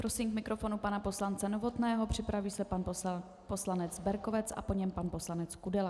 Prosím k mikrofonu pana poslance Novotného, připraví se pan poslanec Berkovec a po něm pan poslanec Kudela.